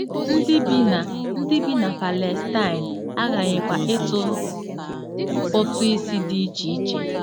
Ndị bi na Ndị bi na Palestine aghaghịkwa ịtụ ụtụ isi dị iche iche.